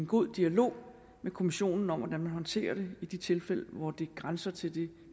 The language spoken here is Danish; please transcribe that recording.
god dialog med kommissionen om hvordan vi håndterer det i de tilfælde hvor det grænser til det